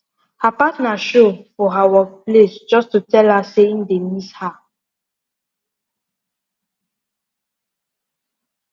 her partner show for her work place just to tell her say im dey miss her